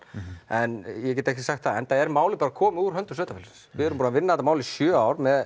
en nei ég get ekki sagt það enda er málið bara komið úr höndum sveitafélagsins við erum búin að vinna þetta mál í sjö ár með